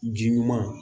Ji ɲuman